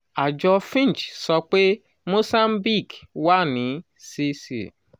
àjọ fitch sọ pé mozambique wà ní cc